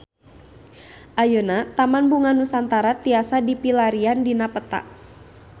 Ayeuna Taman Bunga Nusantara tiasa dipilarian dina peta